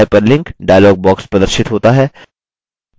hyperlink dialog प्रदर्शित होता है